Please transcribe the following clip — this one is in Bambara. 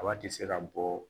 Kaba ti se ka bɔ